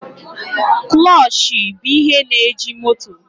Kụlọchị bụ ihe na-eji moto.